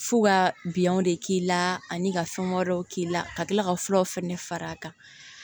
F'u ka biyɛnw de k'i la ani ka fɛn wɛrɛw k'i la ka tila ka furaw fɛnɛ fara a kan